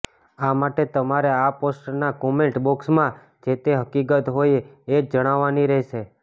આ માટે તમારે આ પોસ્ટના કોમેન્ટ બોક્સમાં જે તે હકિકત હોય એ જ જણાવવાની રહેશે